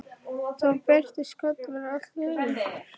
Þá birtist Kolur allt í einu.